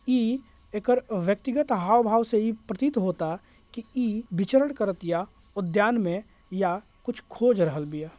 इ एकर व्यक्तिगत हावभाव से इ प्रतीत होता कि इ विचरण करत या उद्यान में या कुछ खोज रहल बिया।